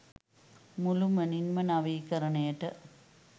මුළුමනින්ම නවීකරණයට